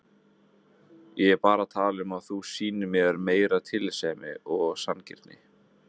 Ég er bara að tala um að þú sýnir mér meiri tillitssemi og sanngirni.